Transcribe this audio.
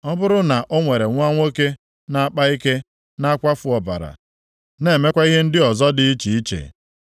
“Ọ bụrụ na o nwere nwa nwoke na-akpa ike, na-akwafu ọbara, na-emekwa ihe ndị ọzọ dị iche iche,